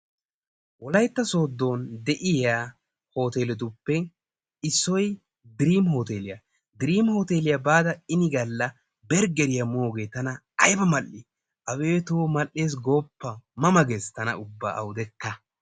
Wolaytta sooddon de'iya Hoteeletuppe issoy Driimi Hooteliyaa. Diriimi hooteliyaa baada ini galla berggeriya moogee tana aybba mal''i! abeetoo mal''ee gooppa! ma ma gees tana awudekka.